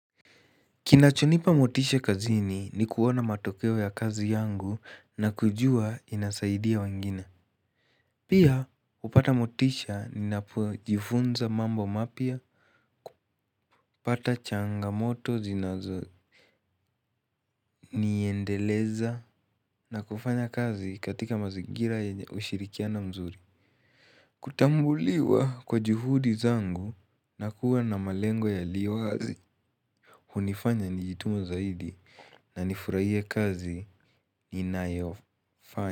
Kinachonipa motishe kazini ni kuona matokeo ya kazi yangu na kujua inasaidia wengine. Pia hupata motishe ninapo jifunza mambo mapya, kupata changamoto zinazo niendeleza na kufanya kazi katika mazingira ushirikiana mzuri. Kutambuliwa kwa juhudi zangu na kuwa na malengo ya liwazi. Hunifanya nijituma zaidi na nifurahie kazi ninayo fanya.